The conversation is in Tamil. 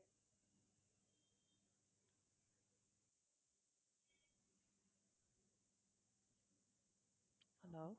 hello